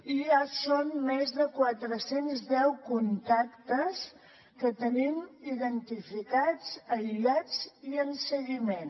i ja són més de quatre cents i deu contactes que tenim identificats aïllats i en seguiment